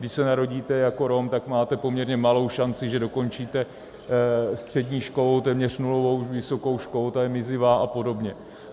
Když se narodíte jako Rom, tak máte poměrně malou šanci, že dokončíte střední školu, téměř nulovou vysokou školu, ta je mizivá, a podobně.